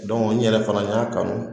n yɛrɛ fana n y'a kanu